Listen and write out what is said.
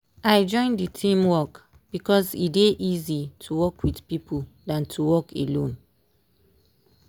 i join the team work because e dey easy to work with people dan to work alone.